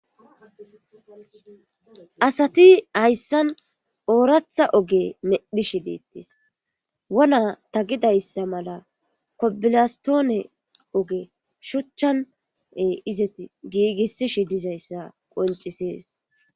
asati hayssan ooratha oge medhi shi deettis wona ta gidayssa mala kobilastoone oge shuchchane izati giigisishi dizayssa qoncisees